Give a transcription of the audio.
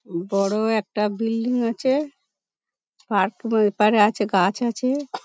উ বড় একটা বিল্ডিং আছে আর পুরো এপারে আছে গাছ আছে।